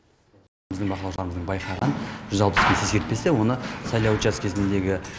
біздің бақылаушыларымыздың байқаған жүз алпыс бес ескертпесі оны сайлау учаскесіндегі